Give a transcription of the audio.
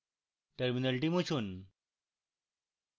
terminal মুছুন